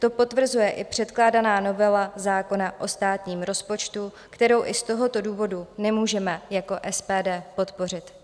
To potvrzuje i předkládaná novela zákona o státním rozpočtu, kterou i z tohoto důvodu nemůžeme jako SPD podpořit.